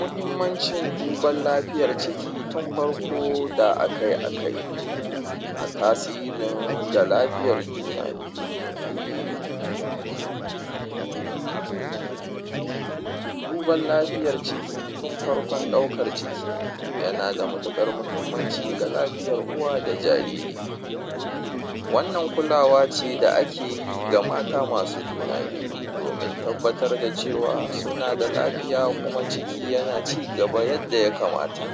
muhimmancin duban lafiyar ciki tun farko da akai akai a tasirin ga lafiyar juna biyu duban lafiyar ciki tun farkon ɗaukar ciki yana da matuƙar muhimmanci ga lafiyar uwa da jariri wannan kulawa ce da akeyi ga mata masu juna biyu domin tabbatar da cewa suna da lafiya kuma ciki yana cigaba yadda ya kamata